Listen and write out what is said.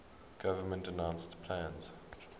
government announced plans